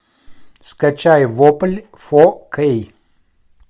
скачай вопль фо кей